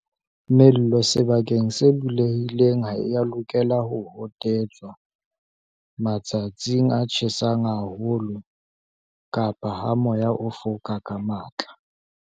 Mello sebakeng se bulehileng ha e ya lokela ho hotetswa matsatsing a tjhesang haho lo kapa ha moya o foka ka matla.